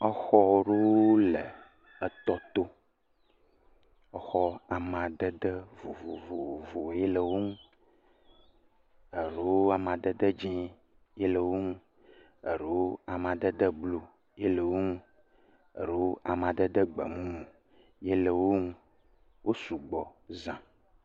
Exɔ ɖewo le etɔ to. Exɔ amadede vovovo ye le wo ŋu, eɖewo amadede dzɛ̃ ye le wo ŋu, alo madede blu ye le wo ŋu, eɖewo amadede gbemumu ye le wo ŋu. Wo sugbɔ za.